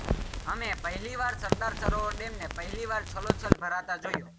અમે પહેલી વાર સરદાર સરોવર ડેમને પહેલીવાર છલોછલ ભરતા જોયો